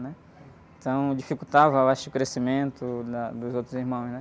Né? Então dificultava, eu acho, que o crescimento da, dos outros irmãos, né?